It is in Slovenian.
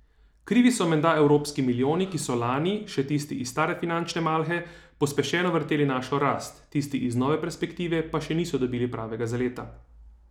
Krivi so menda evropski milijoni, ki so lani, še tisti iz stare finančne malhe, pospešeno vrteli našo rast, tisti iz nove perspektive pa še niso dobili pravega zaleta.